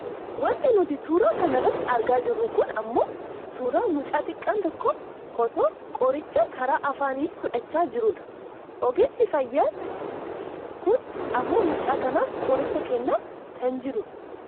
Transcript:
Wanti nuti suura kana irratti argaa jirru kun ammoo suuraa mucaa xiqqaan tokko otoo qoticha karaa afaanii fudhachaa jiruudha. Ogeessi fayyaa k7n ammoo mucaa kanaaf qoricha kennaa kan jiru dha.